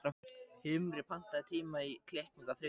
Himri, pantaðu tíma í klippingu á þriðjudaginn.